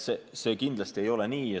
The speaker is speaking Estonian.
See ei ole kindlasti nii.